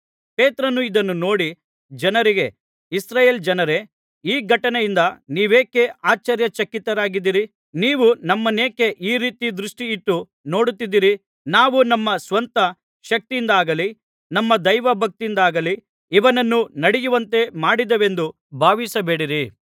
ಪೇತ್ರನು ಇದನ್ನು ನೋಡಿ ಜನರಿಗೆ ಇಸ್ರಾಯೇಲ್ ಜನರೇ ಈ ಘಟನೆಯಿಂದ ನೀವೇಕೆ ಆಶ್ಚರ್ಯಚಕಿತರಾಗಿದ್ದೀರಿ ನೀವು ನಮ್ಮನೇಕೆ ಈ ರೀತಿ ದೃಷ್ಟಿಯಿಟ್ಟು ನೋಡುತ್ತಿದ್ದಿರಿ ನಾವು ನಮ್ಮ ಸ್ವಂತ ಶಕ್ತಿಯಿಂದಾಗಲಿ ನಮ್ಮ ದೈವಭಕ್ತಿಯಿಂದಾಗಲಿ ಇವನನ್ನು ನಡೆಯುವಂತೆ ಮಾಡಿದೆವೆಂದು ಭಾವಿಸಬೇಡಿರಿ